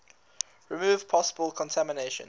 remove possible contamination